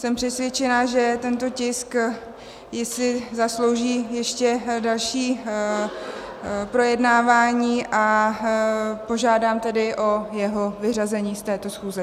Jsem přesvědčena, že tento tisk si zaslouží ještě další projednávání, a požádám tedy o jeho vyřazení z této schůze.